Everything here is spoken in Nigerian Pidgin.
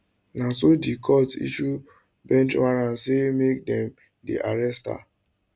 na so di court issue bench warrant say make dem dem arrest her